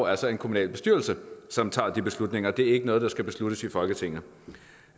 altså en kommunalbestyrelse som tager de beslutninger det er ikke noget der skal besluttes i folketinget